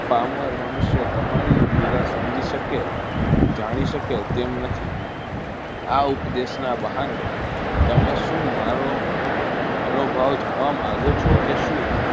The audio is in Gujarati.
કામળ મનુષ્યો તમારી લીલા સમજી શકે જાણી શકે તેમ નથી આ ઉપદેશ ના બહાને તમે શું મારો મનોભાવ જાણવા માંગો છો કે શું?